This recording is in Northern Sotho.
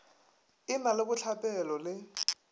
e na le bohlapelo le